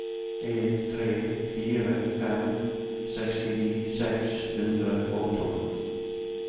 en tre fire fem sekstini seks hundre og tolv